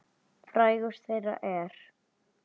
Frægust þeirra er